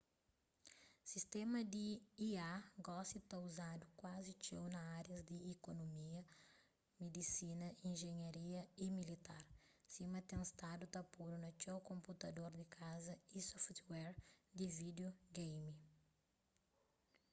sistéma di ia gosi ta uzadu kuazi txeu na árias di ikonumia midisina injinharia y militar sima ten stadu ta podu na txeu konputador di kaza y software di vídio geimi